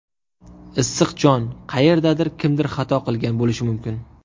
Issiq jon, qayerdadir kimdir xato qilgan bo‘lishi mumkin.